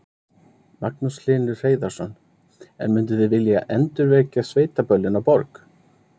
Magnús Hlynur Hreiðarsson: En munduð þið vilja endurvekja sveitaböllin á Borg?